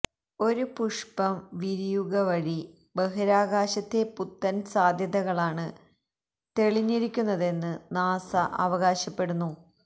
ഒരു പുഷ്പം വിരിയുകവഴി ബഹിരാകാശത്തെ പുത്തന് സാധ്യതകളാണ് തെളിഞ്ഞിരിക്കുന്നതെന്ന് നാസ അവകാശപ്പെടുന്നു